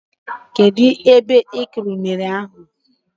Kedụ ebe ị kụrụ unere ahụ?